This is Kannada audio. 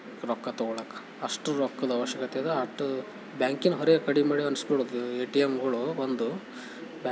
ರೊಕ್ಕ ತೊಗೊಳಕ್ಕ ಅಷ್ಟು ರೊಕ್ಕದ ಅವಶ್ಯಕತೆ ಅದ ಬ್ಯಾಂಕಿನ್ ಹೊರೆ ಕಮ್ಮಿ ಮಾಡಿ ಅನ್ನುಸ್ಕ್ಲತದ ಎ.ಟಿ.ಎಂ ಗಳು ಒಂದೂ --